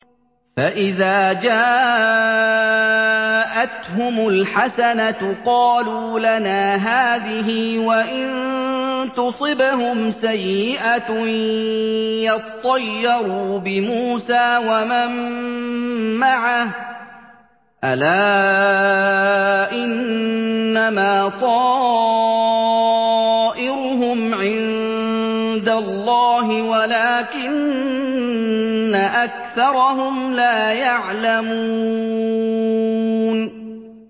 فَإِذَا جَاءَتْهُمُ الْحَسَنَةُ قَالُوا لَنَا هَٰذِهِ ۖ وَإِن تُصِبْهُمْ سَيِّئَةٌ يَطَّيَّرُوا بِمُوسَىٰ وَمَن مَّعَهُ ۗ أَلَا إِنَّمَا طَائِرُهُمْ عِندَ اللَّهِ وَلَٰكِنَّ أَكْثَرَهُمْ لَا يَعْلَمُونَ